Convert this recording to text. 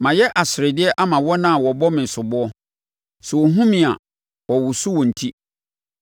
Mayɛ aseredeɛ ama wɔn a wɔbɔ me soboɔ; sɛ wohunu me a, wɔwoso wɔn ti.